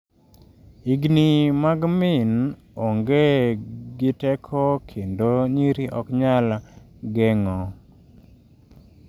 Higni mag min onge gi teko kendo nyiri ok nyal geng’o.